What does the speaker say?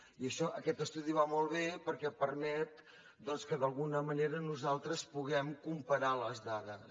i això aquest estudi va molt bé perquè permet que d’alguna manera nosaltres puguem comparar les dades